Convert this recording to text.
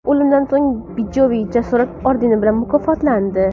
O‘limidan so‘ng Bijoyev Jasorat ordeni bilan mukofotlandi.